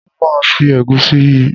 Mo máa fi ẹ̀gúsí yí i.